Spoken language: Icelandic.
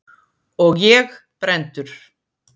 Og ég brenndur.